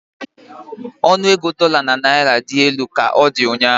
Ọnụ ego dola na naira dị elu ka ọ dị ụnyahụ.